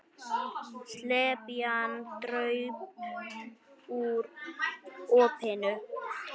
Slepjan draup úr opinu.